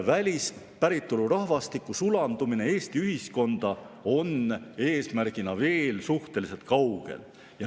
Välispäritolu rahvastiku sulandumine Eesti ühiskonda on eesmärgina veel suhteliselt kaugel.